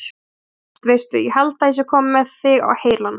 Það er satt. veistu. ég held að ég sé kominn með þig á heilann!